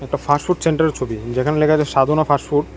Fast food সেন্টারের ছবি যেখানে লেখা রয়েছে সাধনা ফাস্ট ফুড ।